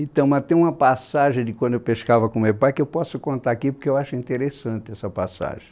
Então, mas tem uma passagem de quando eu pescava com meu pai que eu posso contar aqui porque eu acho interessante essa passagem.